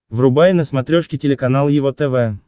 врубай на смотрешке телеканал его тв